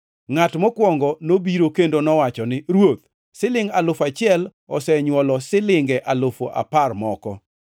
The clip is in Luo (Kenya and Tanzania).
“Ngʼat mokwongo nobiro kendo nowacho ni, ‘Ruoth, silingʼ alufu achiel, osenywolo silinge alufu apar moko.’